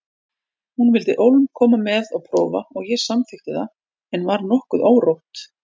Hún vildi ólm koma með og prófa og ég samþykkti það en var nokkuð órótt.